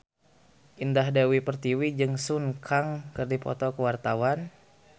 Indah Dewi Pertiwi jeung Sun Kang keur dipoto ku wartawan